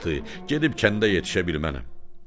Bir vaxtı gedib kəndə yetişə bilmərəm.